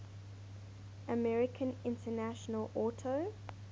american international auto